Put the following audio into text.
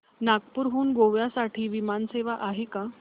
नागपूर हून गोव्या साठी विमान सेवा आहे का